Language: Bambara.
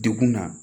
Degun na